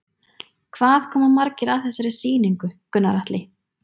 Hvað koma margir að þessari sýningu, Gunnar Atli?